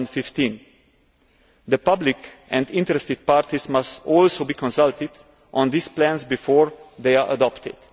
2015. The public and interested parties must also be consulted on these plans before they are adopted.